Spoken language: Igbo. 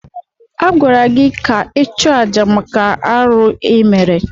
Agwara gị ka ị chụọ àjà maka arụ ịmere!